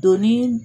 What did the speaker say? Donni